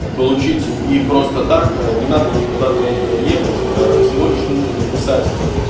получите и просто так не надо никуда для этого ехать всего лишь нужно написать